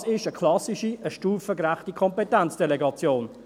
Das ist eine klassische, eine stufengerechte Kompetenzdelegation.